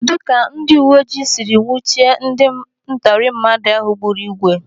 Kedụ ka ndị uwe ojii siri nwuchie ndị ntọrọmmadụ ahụ gburu igwe?